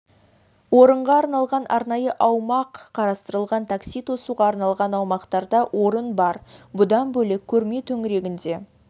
орынға арналған арнайы аумақ қарастырылған такси тосуға арналған аумақтарда орын бар бұдан бөлек көрме төңірегінде